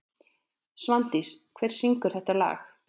Svandís, hver syngur þetta lag?